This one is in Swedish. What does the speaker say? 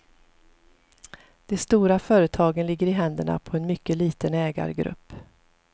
De stora företagen ligger i händerna på en mycket liten ägargrupp.